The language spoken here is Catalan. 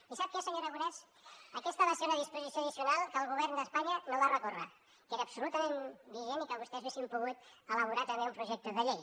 i sap què senyor aragonès aquesta va ser una disposició addicional que el govern d’espanya no va recórrer que era absolutament vigent i que vostès haguessin pogut elaborar també un projecte de llei